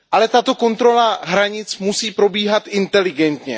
Tato kontrola hranic musí probíhat inteligentně.